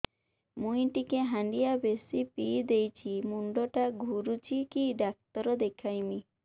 ମୁଇ ଟିକେ ହାଣ୍ଡିଆ ବେଶି ପିଇ ଦେଇଛି ମୁଣ୍ଡ ଟା ଘୁରୁଚି କି ଡାକ୍ତର ଦେଖେଇମି